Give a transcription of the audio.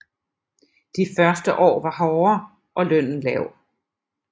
De første år var hårde og lønnen lav